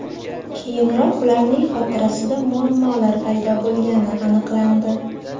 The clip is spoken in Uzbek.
Keyinroq ularning xotirasida muammolar paydo bo‘lgani aniqlandi.